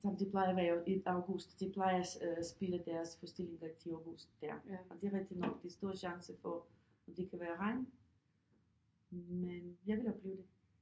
Som det plejer at være øh i august de plejer spille deres forestilling rigtigt i august der og det er rigtig nok der er stor chance for at det kan være regn men jeg vil opleve det